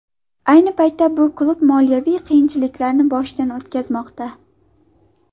Ayni paytda bu klub moliyaviy qiyinchiliklarni boshidan o‘tkazmoqda.